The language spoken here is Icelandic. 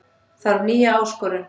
Þarf nýja áskorun